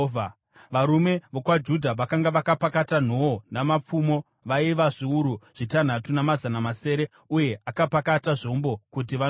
Varume vokwaJudha vakanga vakapakata nhoo namapfumo vaiva zviuru zvitanhatu namazana masere uye akapakata zvombo kuti vandorwa;